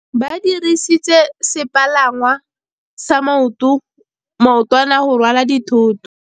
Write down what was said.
Ba dirisitse sepalangwasa maotwana go rwala dithôtô.